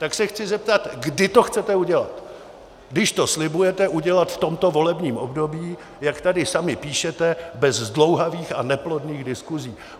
Tak se chci zeptat, kdy to chcete udělat, když to slibujete udělat v tomto volebním období, jak tady sami píšete, bez zdlouhavých a neplodných diskusí.